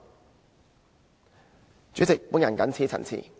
代理主席，我謹此陳辭。